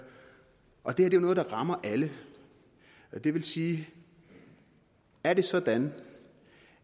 og det her er jo noget der rammer alle det vil sige er det sådan